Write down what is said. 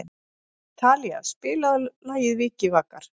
Talía, spilaðu lagið „Vikivakar“.